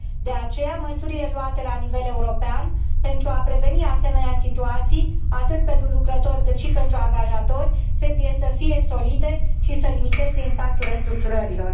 De aceea, măsurile luate la nivel european pentru a preveni asemenea situații atât pentru lucrători, cât și pentru angajatori, trebuie să fie solide și să limiteze impactul restructurărilor.